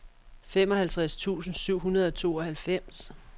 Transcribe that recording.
femoghalvtreds tusind syv hundrede og tooghalvfems